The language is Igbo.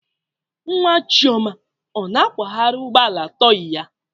Nwa chioma ọ na-akwagharị ụgbọ ala tọị ya?